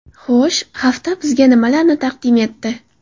Xo‘sh, hafta bizga nimalarni taqdim etdi?